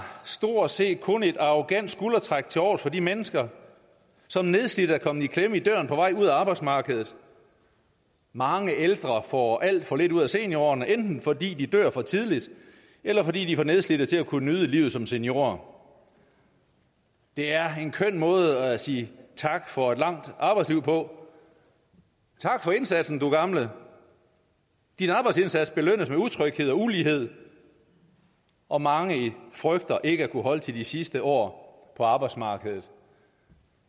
stort set kun et arrogant skuldertræk tilovers for de mennesker som nedslidte er kommet i klemme i døren på vej ud af arbejdsmarkedet mange ældre får alt for lidt ud af seniorårene enten fordi de dør for tidligt eller fordi de er for nedslidte til at kunne nyde livet som seniorer det er en køn måde at sige tak for et langt arbejdsliv på tak for indsatsen du gamle din arbejdsindsats belønnes med utryghed og ulighed og mange frygter ikke at kunne holde til de sidste år på arbejdsmarkedet